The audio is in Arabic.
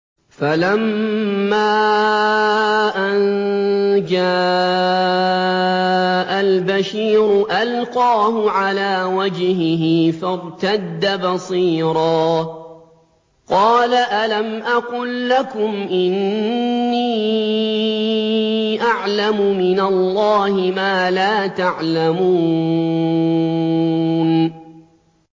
فَلَمَّا أَن جَاءَ الْبَشِيرُ أَلْقَاهُ عَلَىٰ وَجْهِهِ فَارْتَدَّ بَصِيرًا ۖ قَالَ أَلَمْ أَقُل لَّكُمْ إِنِّي أَعْلَمُ مِنَ اللَّهِ مَا لَا تَعْلَمُونَ